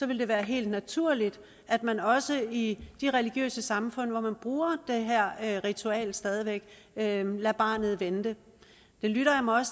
vil det være helt naturligt at man også i de religiøse samfund hvor man bruger det her ritual stadig væk lader barnet vente det lytter jeg mig